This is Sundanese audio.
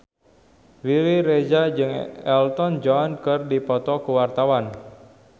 Riri Reza jeung Elton John keur dipoto ku wartawan